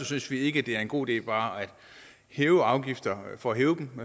synes vi ikke det er en god idé bare at hæve afgifter for at hæve dem